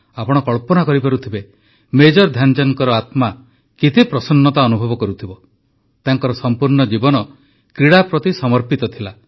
ଆପଣ କଳ୍ପନା କରିପାରୁଥିବେ ମେଜର ଧ୍ୟାନଚାନ୍ଦଙ୍କ ଆତ୍ମା କେତେ ପ୍ରସନ୍ନତା ଅନୁଭବ କରୁଥିବ ତାଙ୍କର ସମ୍ପୂର୍ଣ୍ଣ ଜୀବନ କ୍ରୀଡ଼ା ପ୍ରତି ସମର୍ପିତ ଥିଲା